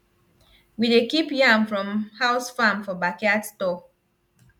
we dey keep yam from house farm for backyard store